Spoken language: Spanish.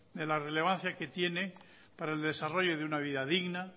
de la relevancia que tiene para el desarrollo de una vida digna